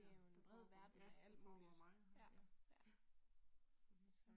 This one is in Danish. Det jo en bred verden af alt muligt ja ja